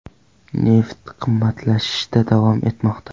Neft qimmatlashishda davom etmoqda.